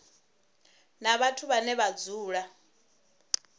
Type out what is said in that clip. na vhathu vhane vha dzula